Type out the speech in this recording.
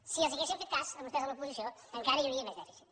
si els haguéssim fet cas a vostès a l’oposició encara hi hauria més dèficit